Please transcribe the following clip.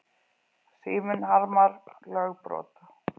Síminn harmar lögbrot